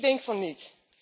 Ik denk van niet.